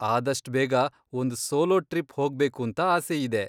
ಆದಷ್ಟ್ ಬೇಗ ಒಂದ್ solo trip ಹೋಗ್ಬೇಕೂಂತ ಆಸೆಯಿದೆ.